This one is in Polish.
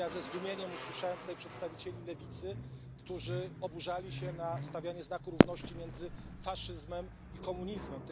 Po drugie ze zdumieniem słuchałem przedstawicieli lewicy, którzy oburzali się na stawianie znaku równości między faszyzmem i komunizmem.